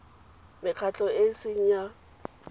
mekgatlho e e seng ya